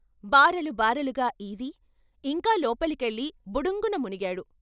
బారులు బారులుగా ఈది ఇంకా లోపలికెళ్ళి బుడుంగున మునిగాడు.